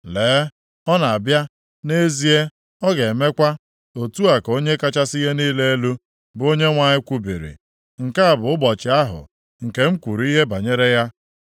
Lee, ọ na-abịa, nʼezie, ọ ga-emekwa, otu a ka Onye kachasị ihe niile elu, bụ Onyenwe anyị kwubiri. Nke a bụ ụbọchị ahụ nke m kwuru ihe banyere ya.